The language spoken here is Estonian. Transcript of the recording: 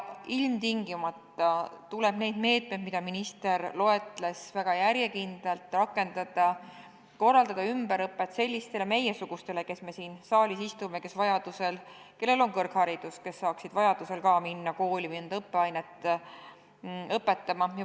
Ilmtingimata tuleb neid meetmeid, mida minister loetles, väga järjekindlalt rakendada, korraldada ümberõpet sellisetele meiesugustele, kes me siin saalis istume ja kes vajadusel ning siis, kui on kõrgharidus olemas, saaksid ka minna kooli mõnda õppeainet õpetama.